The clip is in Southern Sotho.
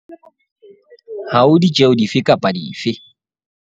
Ha ho ditjeho di fe kapa dife.